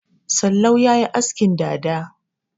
Sallau ya yi askin dada.